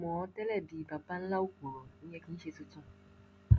mo ti mọ̀ ọ́n tẹ́lẹ̀ bíi baba ńlá òpùrọ ìyẹn kì í ṣe tuntun